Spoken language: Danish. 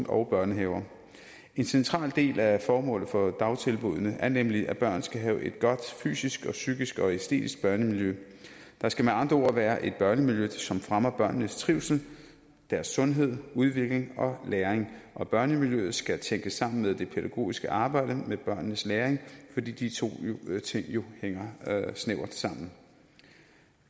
og børnehaver en central del af formålet for dagtilbuddene er nemlig at børn skal have et godt fysisk psykisk og æstetisk børnemiljø der skal med andre ord være et børnemiljø som fremmer børnenes trivsel sundhed udvikling og læring og børnemiljøet skal tænkes sammen med det pædagogiske arbejde med børnenes læring fordi de to ting jo hænger snævert sammen